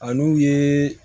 A n'u ye